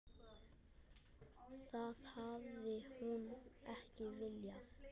Það hafi hún ekki viljað.